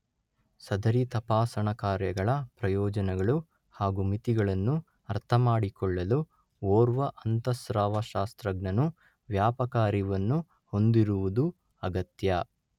ಸದರಿ ತಪಾಸಣಾ ಕಾರ್ಯಗಳ ಪ್ರಯೋಜನಗಳು ಹಾಗೂ ಮಿತಿಗಳನ್ನು ಅರ್ಥಮಾಡಿಕೊಳ್ಳಲು ಓರ್ವ ಅಂತಃಸ್ರಾವಶಾಸ್ತ್ರಜ್ಞನು ವ್ಯಾಪಕ ಅರಿವನ್ನು ಹೊಂದಿರುವುದು ಅಗತ್ಯ